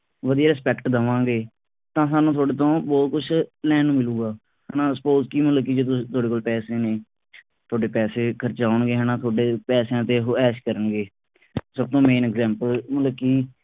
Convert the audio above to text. ਵਧੀਆ respect ਦਵਾਂਗੇ ਤਾਂ ਹਾਨੂੰ ਤੁਹਾਡੇ ਤੋਂ ਬਹੁਤ ਕੁਛ ਲੈਣ ਨੂੰ ਮਿਲੂਗਾ ਹਣਾ suppose ਕਿ ਮਤਲਬ ਕਿ ਤੁਹਾਡੇ ਕੋਲ ਪੈਸੇ ਨੇ ਤੁਹਾਡੇ ਪੈਸੇ ਖਰਚਾਉਣਗੇ ਹਣਾ ਤੁਹਾਡੇ ਪੈਸਿਆਂ ਤੇ ਉਹ ਐਸ਼ ਕਰਨਗੇ ਸਭ ਤੋਂ main example ਮਤਲਬ ਕਿ